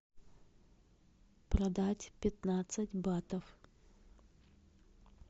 продать пятнадцать батов